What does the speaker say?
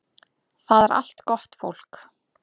Það er allt gott fólk